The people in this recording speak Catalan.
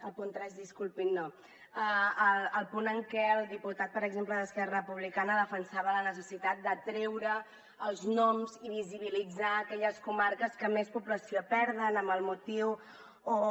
el punt tres disculpin no el punt en què el diputat per exemple d’esquerra republicana defensava la necessitat de treure els noms i visibilitzar aquelles comarques que més població perden amb el motiu o